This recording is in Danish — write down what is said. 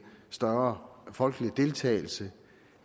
større folkelig deltagelse